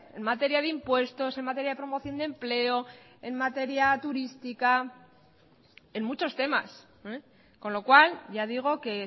en materia de impuestos en materia de promoción de empleo en materia turística en muchos temas con lo cual ya digo que